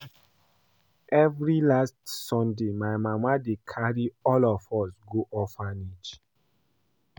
Every last sunday my mama dey carry all of us go orphanage